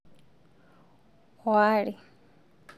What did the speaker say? oo are